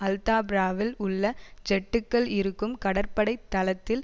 அல்தாப்ராவில் உள்ள ஜெட்டுக்கள் இருக்கும் கடற்படை தளத்தில்